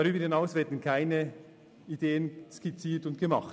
Darüber hinaus werden keine Ideen skizziert oder entworfen.